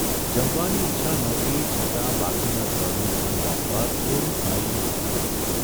જમવાની ઇચ્છા નહોતી છતાં બાકીનાં ત્રણનું મન રાખવા થોડું ખાઇને ઊઠી ગયો.